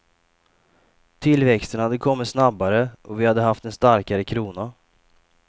Tillväxten hade kommit snabbare och vi hade haft en starkare krona.